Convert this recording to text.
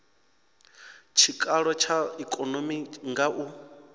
tshikalo tsha ikonomi nga u